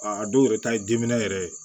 A dɔw yɛrɛ ta ye diminɛ yɛrɛ ye